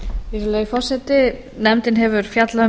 virðulegi forseti nefndin hefur fjallað um málið